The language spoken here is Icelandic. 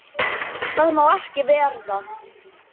Það má ekki verða.